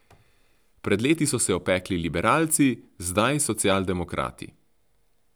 Pred leti so se opekli liberalci, zdaj socialdemokrati.